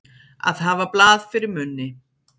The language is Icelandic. Að hafa blað fyrir munni